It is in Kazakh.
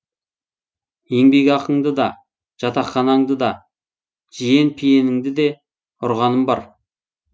еңбекақыңды да жатақханаңды да жиен пиеніңді де ұрғаным бар